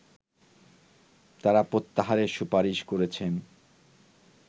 তারা প্রত্যাহারের সুপারিশ করেছেন